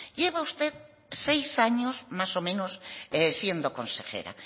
lleva usted seis años más o menos siendo consejera